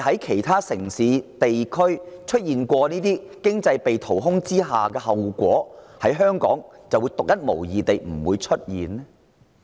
其他城市及地區曾因此招致經濟被淘空的後果，香港是否獨一無二，不會落得相同下場？